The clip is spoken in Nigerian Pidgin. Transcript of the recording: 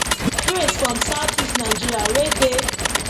praise from southeast nigeria wey dey